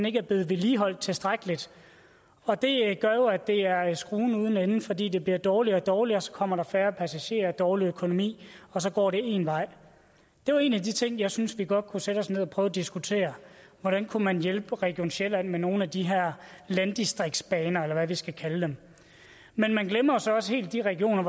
ikke er blevet vedligeholdt tilstrækkeligt og det gør jo at det er skruen uden ende fordi det bliver dårligere og dårligere og så kommer der færre passagerer og dårligere økonomi og så går det én vej det var en af de ting jeg synes vi godt kunne sætte os ned og prøve at diskutere hvordan kunne man hjælpe region sjælland med nogle af de her landdistriktsbaner eller hvad vi skal kalde dem men man glemmer så også helt de regioner